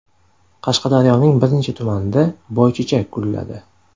Qashqadaryoning bir necha tumanida boychechak gulladi.